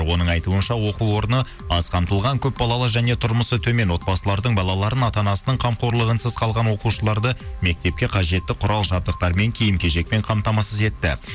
оның айтуынша оқу орыны аз қамтылған көпбалалы және тұрмысы төмен отбасылардың балаларының ата анасының қамқорлығынсыз қалған оқушыларды мектепке қажетті құрал жабдықтармен киім кешекпен қамтамасыз етті